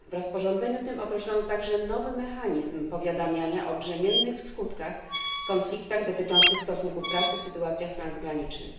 W rozporządzeniu tym określono także nowy mechanizm powiadamiania o brzemiennych w skutkach konfliktach dotyczących stosunków pracy w sytuacjach transgranicznych.